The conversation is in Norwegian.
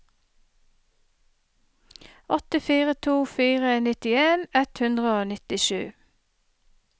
åtte fire to fire nittien ett hundre og nittisju